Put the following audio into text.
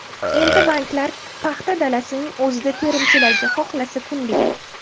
Endi banklar paxta dalasining o‘zida terimchilarga xohlasa kunlik.